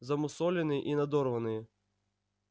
замусоленные и надорванные